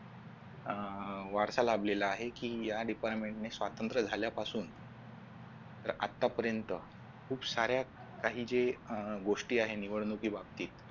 अह वारसा लाभलेला आहे की या department ने स्वातंत्र्य झाल्यापासून तर आतापर्यंत खूप साऱ्या काही जे अह गोष्टी आहेत निवडणुकीबाबत